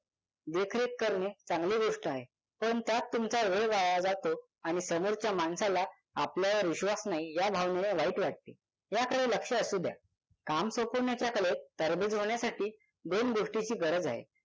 देखरेख करणे चांगली गोष्ट आहे पण त्यात तुमचा वेळ वाया जातो आणि समोरच्या माणसाला आपल्यावर विश्वास नाही या भावनेने वाईट वाटते याकडे लक्ष असू द्या काम सोपवण्याचा कलेत तरबेज होण्यासाठी दोन गोष्टींची गरज आहे